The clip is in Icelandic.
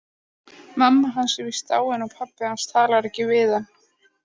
Mamma hans er víst dáin og pabbi hans talar ekki við hann.